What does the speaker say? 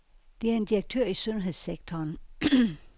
Det er en direktør i sundhedssektoren.